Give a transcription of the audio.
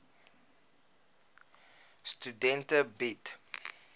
studente bied